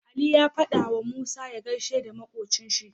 Aliyu ya fada wa musa ya gaishe da makocin shi